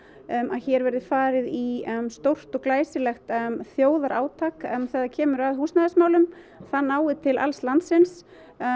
að hér verði farið í stórt og glæsilegt þjóðarátak þegar kemur að húsnæðismálum það nái til alls landsins